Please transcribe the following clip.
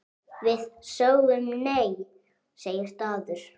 Við sögðum nei, segir Dagur.